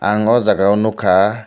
ang o jaga o nog kha.